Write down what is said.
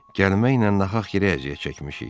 Gəlməklə nahaq yerə əziyyət çəkmişik.